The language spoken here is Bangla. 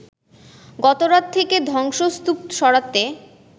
গতরাত থেকে ধ্বংসস্তূপ সরাতে